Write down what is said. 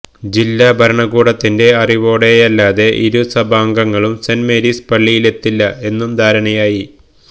ജില്ലാ ഭരണകൂടത്തിന്റെ അറിവോടെയല്ലാതെ ഇരു സഭാംഗങ്ങളും സെന്റ് മേരീസ് പള്ളിയിലെത്തില്ല എന്നും ധാരണയായി